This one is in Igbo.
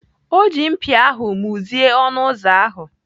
Ọ ji mpia ahụ muzie ọnụ ụzọ ahụ.